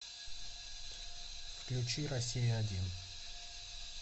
включи россия один